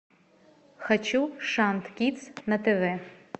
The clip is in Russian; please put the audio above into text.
хочу шант кидс на тв